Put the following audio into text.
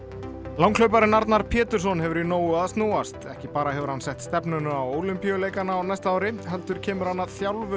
langhlauparinn Arnar Pétursson hefur í nógu að snúast ekki bara hefur hann sett stefnuna á Ólympíuleikana á næsta ári heldur kemur hann að þjálfun